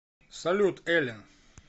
салют эллен